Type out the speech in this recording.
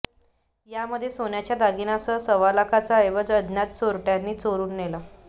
यामध्ये सोन्याच्या दागिन्यांसह सव्वालाखांचा ऐवज अज्ञात चोरट्यांनी चोरून नेला